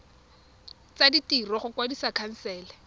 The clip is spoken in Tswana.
tsa ditiro go kwadisa khansele